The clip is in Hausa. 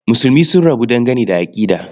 Musulmi sun rabu dangane da aƙida.